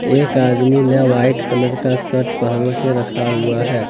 एक आदमी ने व्हाइट कलर का शर्ट पहन के रखा हुआ है।